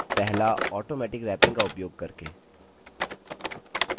पहला automatic wrapping का उपयोग करके